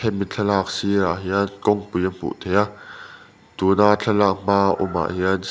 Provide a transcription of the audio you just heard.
mi thlalak sir ah hian kawngpui a hmuh theih a tuna thlalak hma awm ah-- hian